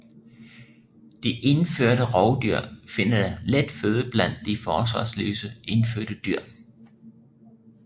De indførte rovdyr finder let føde blandt de forsvarsløse indfødte dyr